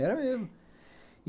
Era mesmo.